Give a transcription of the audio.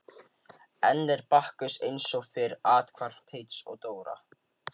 Enn er Bakkus eins og fyrr athvarf Teits og Dóra.